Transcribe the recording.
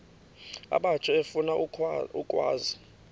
abatsha efuna ukwazi